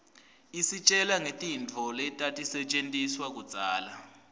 isitjela ngetintfu letatisetjentiswaluudzala